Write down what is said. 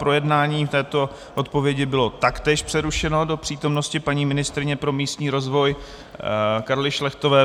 Projednávání této odpovědi bylo taktéž přerušeno do přítomnosti paní ministryně pro místní rozvoj Karly Šlechtové.